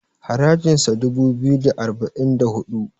harajinsa dubu biyu da arba'in da hudu